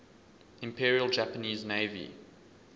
imperial japanese navy